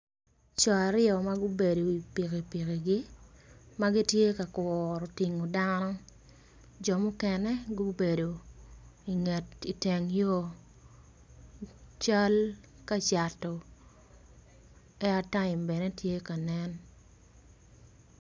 Coo aryo magubedo i wi pikipiki gi magitye ma kuro tingo dano jo mukene gubedo iteng yo cal kacato aittime bene tye ka nen.